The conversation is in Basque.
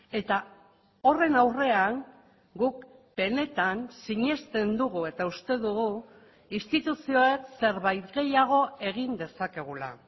eta horren aurrean guk benetan sinesten dugu eta uste dugu instituzioek zerbait gehiago egin dezakegula